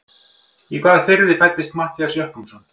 Í hvaða firði fæddist Matthías Jochumsson?